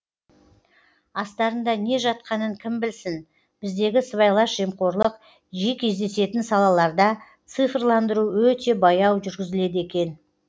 астарында не жатқанын кім білсін біздегі сыбайлас жемқорлық жиі кездесетін салаларда цифрландыру өте баяу жүргізіледі екен